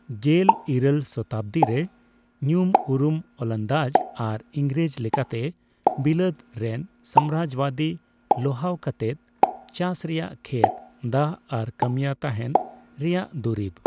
ᱜᱮᱞ ᱤᱨᱟᱹᱞ ᱥᱚᱛᱟᱵᱽᱫᱤ ᱨᱮ, ᱧᱩᱢ ᱩᱨᱩᱢ ᱳᱞᱱᱫᱟᱡ ᱟᱨ ᱤᱝᱨᱮᱡ ᱞᱮᱠᱟᱛᱮ ᱵᱤᱞᱟᱹᱫ ᱨᱮᱱ ᱥᱟᱢᱨᱟᱡᱡᱚᱵᱟᱫᱤ ᱞᱚᱦᱟᱣ ᱠᱟᱛᱮᱫ ᱪᱟᱥ ᱨᱮᱭᱟᱜ ᱠᱷᱮᱛ, ᱫᱟᱜ ᱟᱨ ᱠᱟᱹᱢᱤᱭᱟᱹ ᱛᱟᱦᱮᱸᱱ ᱨᱮᱭᱟᱜ ᱫᱩᱨᱤᱵ ᱾